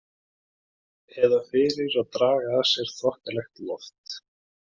Eða fyrir að draga að sér þokkalegt loft.